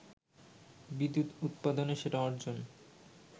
বিদ্যুৎ উৎপাদনে সেটা অর্জন